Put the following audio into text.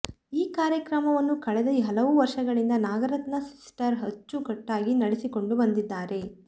ಈ ಕಾರ್ಯವನ್ನು ಕಳೆದ ಹಲವು ವರ್ಷಗಳಿಂದ ನಾಗರತ್ನಾ ಸಿಸ್ಟರ್ ಅಚ್ಚು ಕಟ್ಟಾಗಿ ನಡೆಸಿಕೊಂಡು ಬಂದಿದ್ದಾರೆ